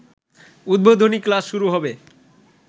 উদ্বোধনী ক্লাস শুরু হবে